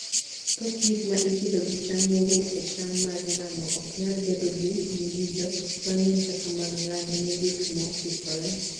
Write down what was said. Thoth gik ma ipidho gi cham mowuok e cham mar ngano, ok nyal bedo gi ng'injo mang'eny kaka mag ngano. Ne gik mokikore